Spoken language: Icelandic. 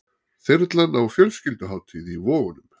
Þyrlan á fjölskylduhátíð í Vogunum